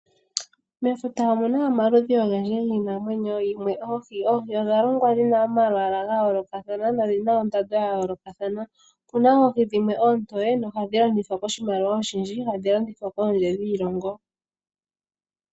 Mefuta omuna omaludhi ogendji giinamwenyo yimwe oohi. Oohi odha longwa ndina omalwaalwa gayoolokathana nodhina ondando dhayolokathana opena oohi dhimwe ontowe dho ohadhi landithwa koshimaliwa oshindji dho ohadhi landithwa kondje yoshilongo.